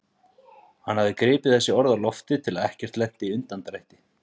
Hann hafði gripið þessi orð á lofti til að ekkert lenti í undandrætti.